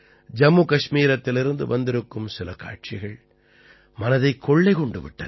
ஜம்மு கஷ்மீரத்திலிருந்து வந்திருக்கும் சில காட்சிகள் மனதைக் கொள்ளை கொண்டு விட்டன